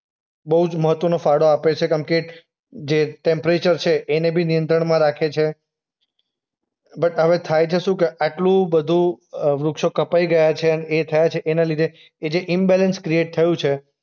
બોઉ જ મહત્વનો ફાળો આપે છે કેમકે જે ટેમ્પરેચર છે એને બી નિયંત્રણમાં રાખે છે. બટ હવે થાય છે શું કે આટલું બધું અ વૃક્ષો કપાય ગયા છે અને એ થયા છે એના લીધે એ જે ઈમ્બેલેન્સ ક્રિએટ થયું છે